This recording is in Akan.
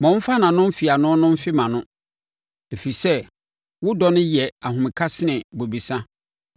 Ma ɔmfa nʼano mfeano no mfe mʼano, ɛfiri sɛ wo dɔ no yɛ ahomeka sene bobesa.